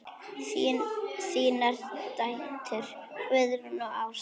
Þínar dætur, Guðrún og Ása.